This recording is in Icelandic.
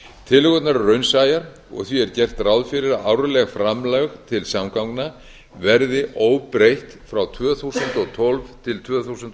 tillögurnar eru raunsæjar og því er gert ráð fyrir að árleg framlegð til samgangna verði óbreytt frá tvö þúsund og tólf til tvö þúsund og